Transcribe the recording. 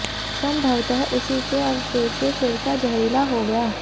संभवतः उसी के अवशेष से सिरका जहरीला हो गया